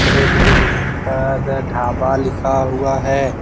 एक बिल्डिंग पर ढ़ाबा लिखा हुआ है।